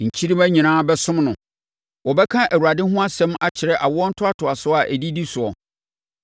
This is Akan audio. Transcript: Nkyirimma nyinaa bɛsom no; wɔbɛka Awurade ho asɛm akyerɛ awoɔ ntoatoasoɔ a ɛdidi soɔ.